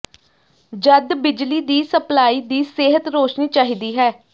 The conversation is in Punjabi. ਜਦ ਬਿਜਲੀ ਦੀ ਸਪਲਾਈ ਦੀ ਸਿਹਤ ਰੋਸ਼ਨੀ ਚਾਹੀਦਾ ਹੈ